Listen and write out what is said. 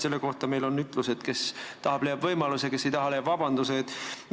Selle kohta on meil ütlus, et kes tahab, leiab võimaluse, kes ei taha, leiab vabanduse.